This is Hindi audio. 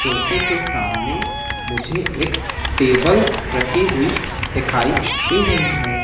सोफे के सामने मुझे एक टेबल रखी हुई दिखाई दे रही है।